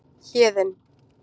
Héðinn